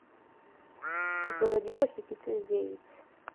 заводи похитители яиц